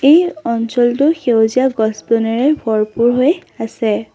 এই অঞ্চলটো সেউজীয়া গছ বনেৰে ভৰপূৰ হৈ আছে।